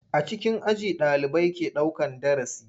A cikin aji ɗalibai ke daukan darasi.